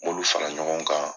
M'olu fara ɲɔgɔn kan.